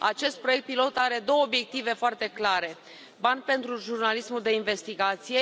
Acest proiect pilot are două obiective foarte clare bani pentru jurnalismul de investigație.